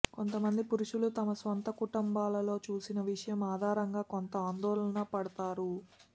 కొంతమంది పురుషులు తమ సొంత కుటుంబములలో చూసిన విషయం ఆధారంగా కొంత ఆందోళన పడతారు